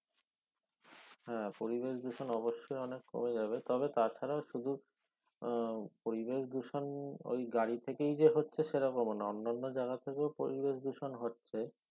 হ্যাঁ পরিবেশ দূষণ অবশ্যই অনেক কমে যাবে তবে তা ছাড়া শুধু আহ পরিবেশ দূষণ ঐ গাড়ি থেকেই যে হচ্ছে সে রকমো না অন্যান্য জায়গা থেকেও পরিবেশ দূষন হচ্ছে